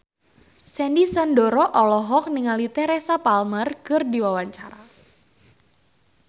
Sandy Sandoro olohok ningali Teresa Palmer keur diwawancara